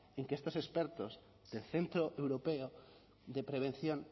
en que estos expertos del centro europeo de prevención